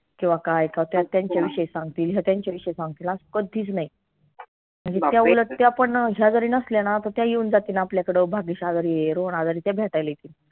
केव्हा काय करत्यात त्यांच्या विषयी सांगतील त्यांच्या विषयी सांगतील आस कधीच नाई त्या पण ह्या घरी नसल्या ना त त्या येऊन जातील आपल्याकडं भाग्येश आजारी आय रोहन आजारी आय त्या भेटायला येतील